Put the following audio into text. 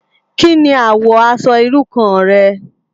Ki ni àwò aṣò irú kàn rè?